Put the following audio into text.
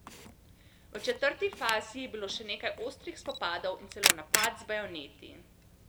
V četrti fazi je bilo še nekaj ostrih spopadov in celo napad z bajoneti.